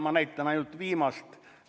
Ma näitan ainult viimast ...